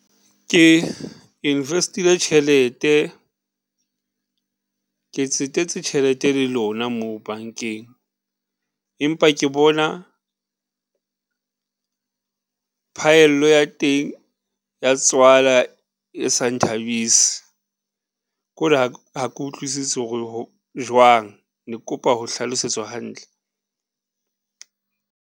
Ke invest-ile tjhelete, ke tsetetse tjhelete le lona moo bankeng, empa ke bona phaello ya teng ya tswala e sa nthabise, ko re ha ke utlwisise hore jwang. Ne ke kopa ho hlalosetswa hantle?